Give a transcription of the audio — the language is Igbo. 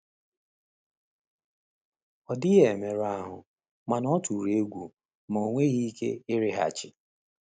Ọ dịghị emerụ ahụ, mana ọ tụrụ egwu ma enweghị ike ịrịghachi.